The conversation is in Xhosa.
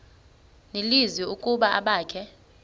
nelizwi ukuba abakhe